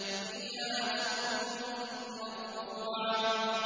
فِيهَا سُرُرٌ مَّرْفُوعَةٌ